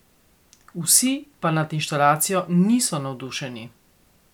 Vsi pa nad inštalacijo niso navdušeni.